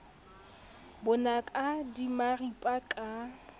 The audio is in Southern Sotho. bo naka di maripa ka